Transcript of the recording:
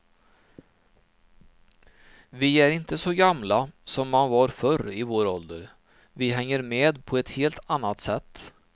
Vi är inte så gamla som man var förr i vår ålder, vi hänger med på ett helt annat sätt.